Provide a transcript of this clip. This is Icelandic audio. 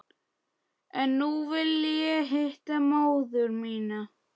En nú vil ég hitta móður mína.